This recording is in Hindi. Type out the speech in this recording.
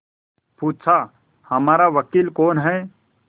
पूछाहमारा वकील कौन है